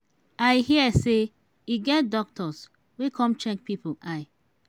i hear say e get doctors wey come check people eye.